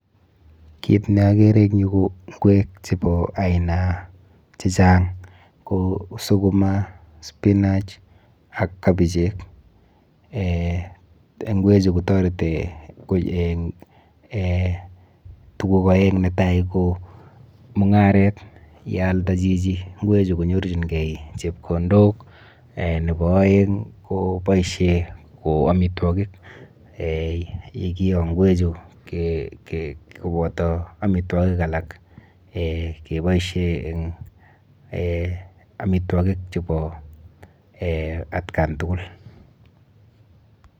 Kit neakere eng yu ko ng'wek chepo aina chechang. kou sukuma, spinach ak kabichek. Eh ng'wechu kotareti eng eh tuguk oeng netai ko mung'aret. Yealda chichi ng'wechu konyorchinkei chepkondok eh nepo aeng ko boishe ko amitwokik eh yekio ng'wechu koboto amitwokik alak keboishe eng eh amitwokik chepo eh atkan tukul.